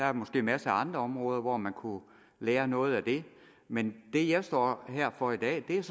er måske masser af andre områder hvor man kunne lære noget men det jeg står her for i dag er